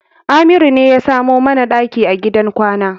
Amiru ne ya samo mana ɗaki a gidan kwana.